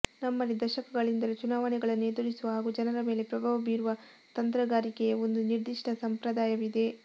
ನಮ್ಮಲ್ಲಿ ದಶಕಗಳಿಂದಲೂ ಚುನಾವಣೆಗಳನ್ನು ಎದುರಿಸುವ ಹಾಗೂ ಜನರ ಮೇಲೆ ಪ್ರಭಾವ ಬೀರುವ ತಂತ್ರಗಾರಿಕೆಯ ಒಂದು ನಿರ್ದಿಷ್ಟ ಸಂಪ್ರದಾಯವಿದೆ